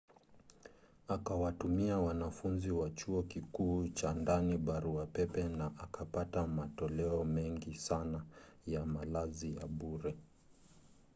akawatumia wanafunzi wa chuo kikuu chaa ndani barua pepe na akapata matoleo mengi sana ya malazi ya bure